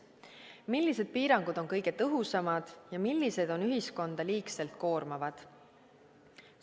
Millised piirangud on kõige tõhusamad ja millised on ühiskonda liigselt koormavad?